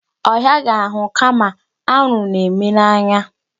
Ọ hịaghị ahụ kama anwụrụ na-eme n'anya.